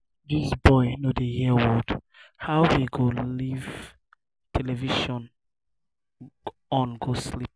dis boy no dey hear word. how he go live television on go sleep